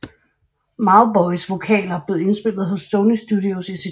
Mauboys vokaler blev indspillet hos Sony Studios i Sydney